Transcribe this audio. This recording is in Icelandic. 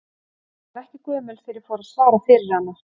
Ég var ekki gömul þegar ég fór að svara fyrir hana.